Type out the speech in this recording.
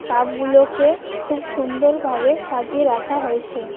কাপগুলোকে খুব সুন্দরভাবে সাজিয়ে রাখা হয়েছে।